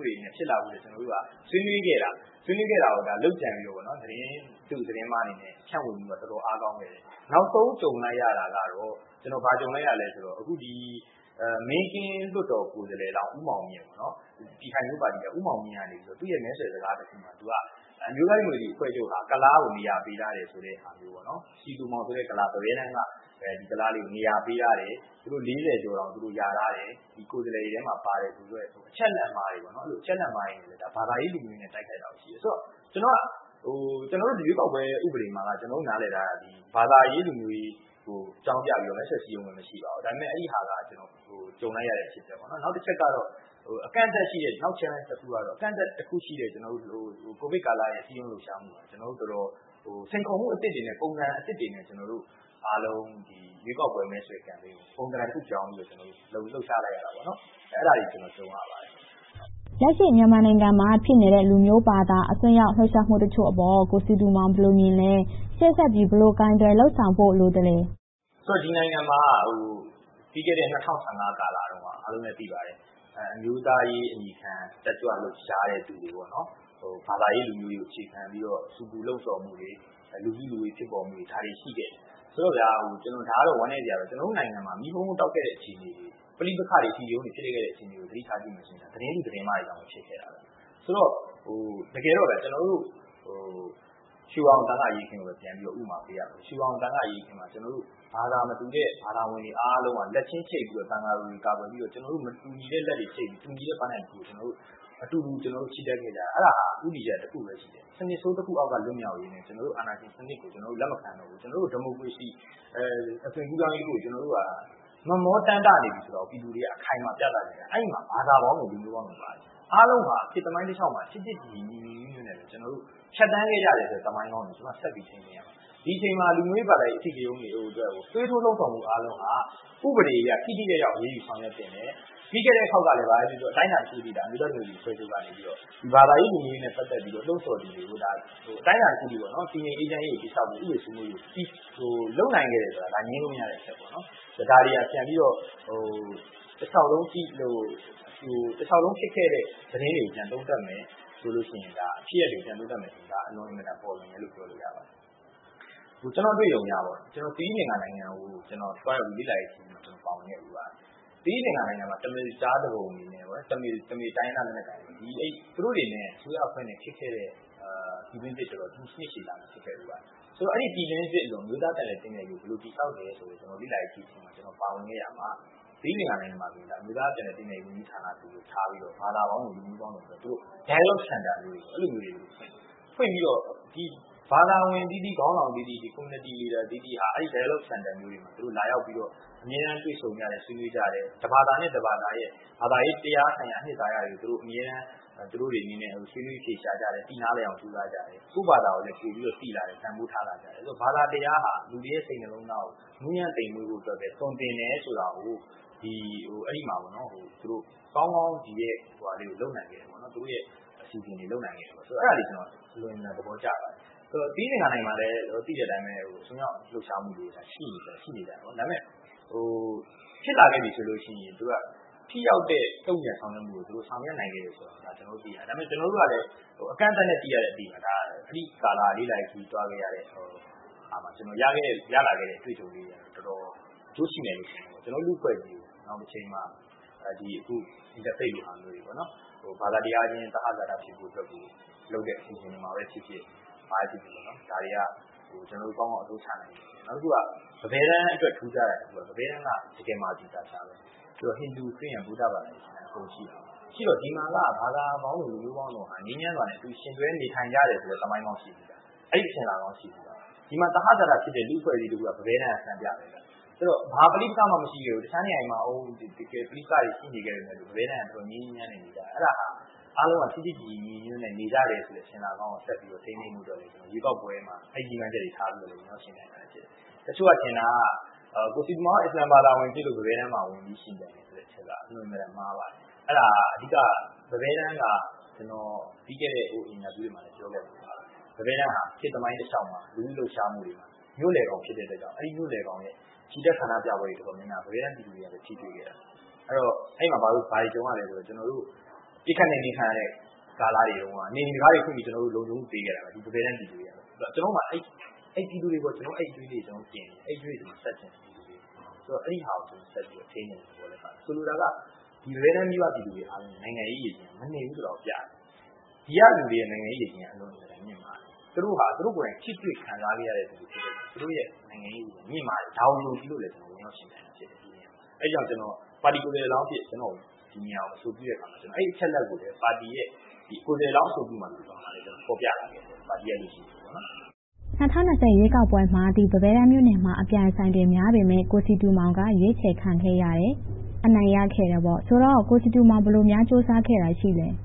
တွေနဲ့ ဖြစ်လာဖို့အတွက် ကျနော်တို့က ဆွေးနွေးခဲ့တာကို လုပ်ကြံပြီးတော့ သတင်းတု၊ သတင်းမှားတွေအနေနဲ့ ဖြန့်ဝေမှုက တော်တော်လေး အားကောင်းခဲ့တယ်။ နောက်ဆုံးကြုံလိုက်ရတာက ဘာကြုံလိုက်ရလဲဆိုတော့ မင်းကင်းလွှတ်တော်ကိုယ်စားလှယ်လောင်း ဦးမောင်မြင့် က သူ့ရဲ့ မဲဆွယ်စကားတစ်ခုမှာ အမျိုးသားဒီမိုကရေစီအဖွဲ့ချုပ်က ကုလားကို နေရာပေးထားတယ်ဆိုတဲ့ဟာမျိုး စည်သူမောင်ဆိုတဲ့ ကုလား ပန်းဘဲတန်းမှာ နေရာပေးထားတယ်။ သူတို့ လေးဆယ်ကျော်တောင် ရာထားတယ်။ ကိုယ်စားလှယ်တွေထဲမှာ ပါတယ်ဆိုပြီး အချက်အလက်မှားတွေနဲ့ ဘာသာရေး၊ လူမျိုးရေးနဲ့ တိုက်ခိုက်တာတွေ ရှိလာခဲ့တယ်။ ဆိုတော့ ကျနော်တို့ ရွေးကောက်ပွဲ ဥပဒေမှာ ကျနော်တို့ နားလည်တာက ဘာသာရေး၊ လူမျိုးရေးကို အကြောင်းပြပြီးတော့ မဲဆွယ်စည်းရုံးခွင့် မရှိပါဘူး။ ဒါပေမဲ့ အဲဒီဟာက ကြုံလိုက်ရတဲ့ အဖြစ်အပျက်ပါ။ နောက်တစ်ချက်ကတော့ အကန့်အသတ်ရှိတဲ့ နောက် စိန်ခေါ်မှုကတော့ အကန့်အသတ်တစ်ခုရှိတဲ့ ကိုဗစ်ကာလရဲ့ စည်းရုံးရေးလှုပ်ရှားမှုမှာ ကျနော်တို့ တော်တော်လေး စိန်ခေါ်မှုအသစ်တွေ၊ ပုံစံအသစ်တွေနဲ့ အားလုံး ရွေးကောက်ပွဲမဲဆွယ်မှုကို ပုံသဏ္ဍာန်တစ်ခု ပြောင်းပြီးတော့ လှုပ်ရှားခဲ့ရတယ်။ အဲဒါတွေ ကြုံခဲ့ရပါတယ်။ လက်ရှိမြန်မာနိုင်ငံမှာ ဖြစ်နေတဲ့ လူမျိုးဘာသာအစွန်းရောက် လှုပ်ရှားမှုတချို့အပေါ် ကိုစည်သူမောင် ဘယ်လိုမြင်လဲ။ ရှေ့ဆက်ပြီး ဘယ်လိုကိုင်တွယ်လုပ်ဆောင်ဖို့ လိုပါသလဲ။ ဆိုတော့ ဒီနိုင်ငံမှာ ပြီးခဲ့တဲ့ ၂၀၁၅ ကာလတုန်းက အမျိုးသားရေးအမည်ခံ တက်ကြွလှုပ်ရှားသူတွေ၊ ဘာသာရေး၊ လူမျိုးရေးကို အခြေခံပြီးတော့ ဆူပူလှုံဆော်မှုတွေ၊ လူစုလူဝေး ဖြစ်ပေါ်မှုတွေ ဒါတွေ ရှိခဲ့တယ်။ ဆိုတော့ ဒါကတော့ ဝမ်းနည်းစရာပါ။ ကျနော်တို့နိုင်ငံမှာ မီးဟုန်းဟုန်းတောက်ခဲ့တဲ့ အခြေအနေတွေ၊ ပဋိပက္ခ၊ အဓိကရုဏ်းတွေ ဖြစ်ခဲ့တဲ့ အခြေအနေတွေကို ပြန်ကြည့်မယ်ဆိုရင် သတင်းတု၊ သတင်းမှားတွေကြောင့် ဖြစ်ခဲ့တာပါ။ ဆိုတော့ တကယ်တော့ ကျနော်တို့ ရွှေဝါရောင်သံဃအရေးအခင်းကို ပြန်ပြီးတော့ ဥပမာပေးရရင် - ရွှေဝါရောင်သံဃအရေးအခင်းမှာ ကျနော်တို့ ဘာသာမတူတဲ့၊ ဘာသာဝင်တွေအားလုံးက လက်ချင်းချိတ်ပြီးတော့ သံဃာတော်တွေကို ကာကွယ်ပေးပြီးတော့၊ ကျနော်တို့ မတူညီတဲ့လက်တွေချိတ်ပြီးတော့ တူညီတဲ့ပန်းတိုင်ကို အတူတူချီတက်ခဲ့ကြတယ်။ အဲဒါဟာ ဦးတည်ချက်တစ်ခုပဲ ရှိခဲ့တယ်။ အဲဒါက စနစ်ဆိုးတစ်ခုအောက်က လွတ်မြောက်ရေးနဲ့ အာဏာရှင်စနစ်ကို လက်မခံတော့ဘူး။ ကျနော်တို့ ဒီမိုကရေစီ အသွင်းကူးပြောင်းရေးကို ကျနော်တို့က မက်မောတမ်းတနေပြီဆိုတာကို ပြည်သူတွေက အခိုင်အမာ ပြသခဲ့တာ။ အဲဒီမှာ ဘာသာပေါင်းစုံ၊ လူမျိုးပေါင်းစုံ ပါဝင်ခဲ့ပါတယ်။ အားလုံးက ခေတ်သမိုင်းတလျှောက်မှာ ချစ်ချစ်ခင်ခင်၊ ညီညီညွှတ်ညွှတ်နဲ့ပဲ ဖြတ်သန်းခဲ့ကြတဲ့ သမိုင်းကောင်းတွေကို ကျနော်တို့က ဆက်ပြီးထိန်းသိမ်းရပါမယ်။ ဒီအချိန်မှာ လူမျိုးရေး၊ ဘာသာရေး အဓိကရုဏ်းတွေအတွက်ကို သွေးထိုးလှုံဆော်မှုအားလုံးဟာ ဥပဒေအရ ထိထိရောက်ရောက် အရေးယူဆောင်ရွက်သင့်တယ်။ ပြီးခဲ့တဲ့အခေါက်ကလဲ အတိုင်းအတာတစ်ခုအထိ အမျိုးသားဒီမိုကရေစီအဖွဲ့ချုပ်က ဘာသာရေး၊ လူမျိုးရေးနဲ့ ပတ်သက်ပြီး လှုံဆော်သူတွေကို အတိုင်းအတာတစ်ခုအထိ တည်ငြိမ်အေးချမ်းရေးကို တည်ဆောက်ပြီး၊ ဥပဒေစိုးမိုးရေးကို လုပ်နိုင်ခဲ့တာဆိုတာ ငြင်းလို့မရတဲ့အချက်ပါ။ ဒါတွေဟာ ပြန်ပြီးတော့ တလျှောက်လုံး ဖြစ်ခဲ့တဲ့ သတင်းတွေကို ပြန်သုံးသပ်မယ်ဆိုရင်၊ ဖြစ်ရပ်တွေကို ပြန်သုံးသပ်မယ်ဆိုရင် ဒါက အင်မတန်ပေါ်လွင်တယ်လို့ ပြောလို့ရတယ်။ ကျနော့်အတွေ့အကြုံအရ သီရိလင်္ကာနိုင်ငံကို သွားရောက်ပြီး လေ့လာရေးမှာ ပါဝင်ခဲ့ဖူးပါတယ်။ သီရိလင်္ကာနိုင်ငံမှာ တမီးလ်ကျားသူပုန်တွေနဲ့ တမီးလ်တိုင်းရင်းသားလက်နက်ကိုင်တွေနဲ့ အစိုးရအဖွဲ့နဲ့ ဖြစ်ခဲ့တဲ့ ပြည်တွင်းစစ် နှစ်ရှည်လများ ဖြစ်ခဲ့တယ်။ အဲဒီပြည်တွင်းစစ်အလွန် အမျိုးသားပြန်လည်သင့်မြတ်ရေးကို ဘယ်လိုတည်ဆောက်တယ်ဆိုတဲ့ လေ့လာရေးခရီးတစ်ခုမှာ ကျနော် ပါဝင်ခဲ့တဲ့အခါမှာ သီရိလင်္ကာနိုင်ငံမှာဆိုရင် အမျိုးသားပြန်လည်သင့်မြတ်ရေးဝန်ကြီးဌာနဆိုပြီးထားကာ ဘာသာပေါင်းစုံ၊ လူမျိုးပေါင်းစုံ Dialogue Center မျိုးတွေကို ဖွင့်ပြီးတော့ ဘာသာဝင်အသီးသီး၊ ခေါင်းဆောင်အသီးသီး၊ Community Leaders အသီးသီးဟာ အဲဒီ Dialogue Center မျိုးတွေမှာ လာရောက်ပြီးတော့ အမြဲတမ်း တွေ့ဆုံပြီးတော့၊ ဆွေးနွေးကြတယ်။ တစ်ဘာသာနဲ့ တစ်ဘာသာတို့ရဲ့ ဘသာရေးတရားဆိုင်ရာ အနစ်သာရတွေကို သူတို့တွေအနေနဲ့ ဆွေးနွေးအဖြေရှာကြတယ်။ သိနားလည်အောင် ကြိုးစားကြတယ်။ ကိုယ့်ဘာသာကိုယ်လည်း ပိုပြီးတော့ သိလာတယ်။ တန်းဖိုးထားလာကြတယ်။ ဘာသာတရားက လူတွေရဲ့ စိတ်နှလုံးသားကို နူံညံ့သိမ့်မွေ့စေဖို့ပဲ သွန်သင်တယ်ဆိုတာကို အဲဒီမှာ ကောင်းကောင်းလုပ်နိုင်ခဲ့တယ်။ အဲဒီလို အစီအစဉ်မျိုးတွေ လုပ်နိုင်ခဲ့တယ်။ အဲဒါလေးကို ကျနော် အလွန်အင်မတန် သဘောကျပါတယ်။ ဆိုတော့ သီရိလင်္ကာနိုင်ငံမှာလည်း သိတဲ့အတိုင်း အစွန်းရောက်လှုပ်ရှားမှုတွေ ရှိနေတယ်။ ဒါပေမဲ့ ဖြစ်လာခဲ့သည်ဆိုရင် သူတို့က ထိရောက်တဲ့ တုံ့ပြန်ဆောင်ရွက်မှုတွေကို ဆောင်ရွက်နိုင်ခဲ့တယ်ဆိုတာကို ကျနော်တို့ သိရတယ်။ ကျနော်တို့ကလည်း အကန့်အသတ်နဲ့ သိရတဲ့အသိပါ။ အဲဒီကာလ လေ့လာရေးခရီး သွားခဲ့ရတဲ့ ကျနော် ရလာခဲ့တဲ့ အတွေ့အကြုံလေးတွေက တော်တော်အကျိုးရှိတယ်လို့ ထင်ပါတယ်။ ကျနော်တို့ လူ့အဖွဲ့အစည်းကို နောင်တချိန်မှာ အခု Interfaith လိုဟာမျိုးတွေ ဘာသာတရားချင်း သဟဇာတဖြစ်ဖို့အတွက်ကို လုပ်တဲ့အစီအစဉ်တွေမှာဖြစ်ဖြစ် ဒါတွေက ကျနော်တို့ ကောင်းကောင်းအသုံးချနိုင်ရမယ်။ နောက်တစ်ခုက ပန်းဘဲတန်းအတွက် ထူးခြားတာက ပန်းဘဲတန်းက တကယ့်ကို Multi-culture နေရာဖြစ်တယ်။ ဟိန္ဒူ၊ ဗုဒ္ဓဘာသာ၊ ခရစ်ယာန်၊ အစ္စလာမ် အကုန်ရှိတယ်။ ရှိတော့ ဒီမှာက ဘာသာပေါင်းစုံ၊ လူမျိုးပေါင်းစုံက ငြိမ်းချမ်းစွာနဲ့ အတူယှဉ်တွဲ နေထိုင်ကြတဲ့ဆိုတဲ့ သမိုင်းကောင်း ရှိပြီသား။ အဲဒီအစဉ်အလာကောင်း ရှိပြီသား။ ဒီမှာ သဟဇာတဖြစ်တဲ့ လူ့အဖွဲ့အစည်းတစ်ခုက ပန်းဘဲတန်းက စံပြ ဖြစ်တယ်။ ဘာပဋိပက္ခမှ မရှိခဲ့ဘူး။ အခြားနေရာတွေမှာ ပဋိပက္ခတွေ ရှိနေခဲ့ပေမယ့် ပန်းဘဲတန်းက ငြိမ်းငြိမ်းချမ်းချမ်းနဲ့ နေကြတယ်။ အဲဒါဟာ အားလုံးက ချစ်ချစ်ခင်ခင်၊ ညီညီညွှတ်ညွှတ်နဲ့ နေကြတယ်ဆိုတဲ့ အစဉ်အလာကောင်းကို ဆက်ပြီးတော့ ထိန်းဖို့အတွက် ကျနော့်အနေနဲ့ ရွေးကောက်ပွဲမှာ အဲဒီရည်မှန်းချက်တွေ ထားပြီးတော့ ဝင်ရောက်ယှဉ်ပြိုင်တာလည်း ဖြစ်ပါတယ်။ တချို့ကထင်တာက ကိုစည်သူမောင်က အစ္စလာမ်ဘာသာဝင်ဖြစ်လို့ ပန်းဘဲတန်းက ဝင်ရောက်ယှဉ်ပြိုင်တယ်ဆိုတဲ့ အချက်က အင်မတန်မှားပါတယ်။ အဲဒါ အဓိကက ပန်းဘဲတန်းက ကျနော် ပြီးခဲ့တဲ့ အင်တာဗျူးတွေမှာလည်း ပြောခဲ့ပါတယ်။ ပန်းဘဲတန်းက ခေတ်သမိုင်းတလျှောက်မှာ လူထုလှုပ်ရှားမှုတွေမှာ မြို့လယ်ခေါင် ဖြစ်တဲ့အတွက်ကြောင့် အဲဒီမြို့လယ်ခေါင်ရဲ့ ချီတက်ဆန္ဒပြပွဲတွေမှာ ပန်းဘဲတန်းပြည်သူတွေက ထိတွေ့ခဲ့တာ။ အဲဒီတော့ အဲဒီမှာ ဘာတွေကြုံရသလဲဆိုရင် ပစ်ခတ်နှိမ်နှင်းခံရတဲ့ ကာလတွေတုန်းက နေအိမ်တံခါးတွေဖွင့်ပြီး လုံခြုံမှုပေးခဲ့တယ်။ ကျနော်တို့မှာ အဲဒီပြည်သူတွေပေါ် အဲဒီအကြွေးလေးတွေ တင်နေသေးတယ်။ အဲဒီအကြွေးတွေ ဆပ်ချင်တယ်။ အဲဒါကို ကျနော်အနေနဲ့ ဆက်ပြီးတော့ ထိန်းချင်တဲ့သဘောလည်း ပါတယ်။ ဆိုလိုတာက ဒီပန်းဘဲတန်းမြို့က ပြည်သူတွေက နိုင်ငံရေးရေချိန်းက မနိမ့်ဘူးဆိုတာကို ပြသတယ်။ ဒီကလူတွေရဲ့ နိုင်ငံရေးရေချိန်းက အင်မတန်မြင့်မားတယ်။ သူတို့ဟာ သူတို့ကိုယ်တိုင် ထိတွေ့ခံစားခဲ့ရသူတွေ ဖြစ်တဲ့အတွက်ကြောင့်မို့ သူတို့ရဲ့ နိုင်ငံရေးရေချိန်းက မြင့်မားတယ်။ ဒါကို ယုံကြည်လို့လည်း ဝင်ရောက်ယှဉ်ပြိုင်တာ ဖြစ်ပါတယ်။ အဲဒါကြောင့် ပါတီကိုယ်စားလှယ်လောင်းအဖြစ် ဒီနေရာကို အဆိုပြုတဲ့အခါမှာ အဲဒီအချက်အလက်ကိုလည်း ပါတီရဲ့ ကိုယ်စားလှယ်လောင်း အဆိုပြုလွှာမှာလည်း ဖော်ပြထားခဲ့တယ်။ ၂၀၂၀ ရွေးကောက်ပွဲမှာ ပန်းဘဲတန်းမြို့နယ်မှာ အပြိုင်အဆိုင်တွေများပေမယ့် ကိုစည်သူမောင်က ရွေးချယ်ခံခဲ့ရတယ်။ အနိုင်ရခဲ့တယ်။ ဆိုတော့ ကိုစည်သူမောင် ဘယ်လိုများ ကြိုးစားခဲ့တာတွေ ရှိပါလဲ။